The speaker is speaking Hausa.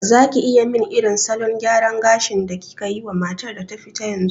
Zaki iya min irin salon gyaran gashin da kikayi wa matar da ta fita yanzu?